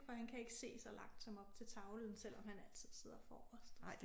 For han kan ikke se så langt som op til tavlen selvom han altid sidder forrest